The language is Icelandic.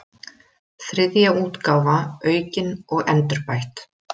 Þriðja útgáfa aukin og endurbætt.